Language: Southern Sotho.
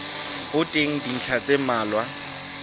ho teng dintlha tse mmalwa